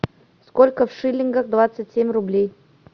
сколько в шиллингах двадцать семь рублей